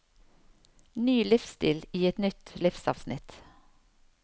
Ny livsstil i et nytt livsavsnitt.